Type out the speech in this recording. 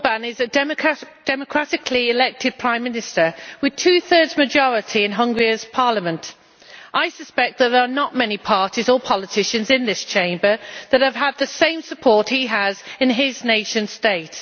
Mr Orbán is a democratically elected prime minister with a two thirds majority in Hungary's Parliament. I suspect that there are not many parties or politicians in this Chamber that have had the same support he has in his nation state.